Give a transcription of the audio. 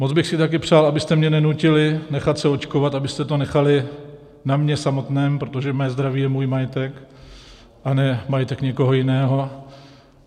Moc bych si také přál, abyste mě nenutili nechat se očkovat, abyste to nechali na mně samotném, protože mé zdraví je můj majetek a ne majetek někoho jiného.